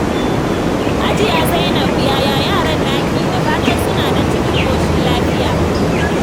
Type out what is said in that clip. Hajiya Zainab, yaya yaran naki? Da fatan suna nan cikin ƙoshin lafiya.